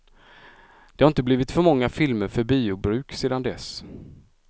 Det har inte blivit många filmer för biobruk sedan dess.